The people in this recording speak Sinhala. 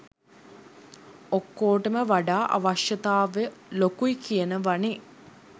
ඔක්කෝටම වඩා අවශ්‍යතාවය ලොකුයි කියනවනෙ.